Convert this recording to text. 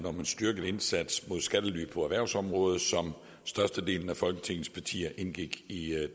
om en styrket indsats mod skattely på erhvervsområdet som størstedelen af folketingets partier indgik i